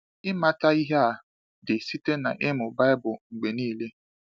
Ịmata ihe a dị site n’ịmụ Baịbụl mgbe niile.